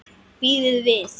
Bíðið við!